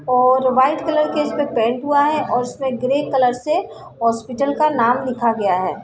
और white colour के इसपे पेंट हुआ है और उस पे ग्रे कलर से हॉस्पिटल का नाम लिखा गया है।